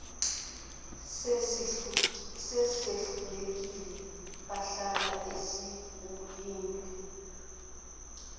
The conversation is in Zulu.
esehlulekile bahlala sekulindwe